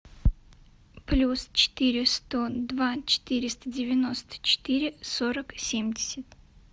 плюс четыре сто два четыреста девяносто четыре сорок семьдесят